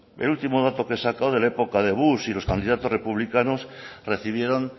el último dato que he sacado de la época de bush y de los candidatos republicanos recibieron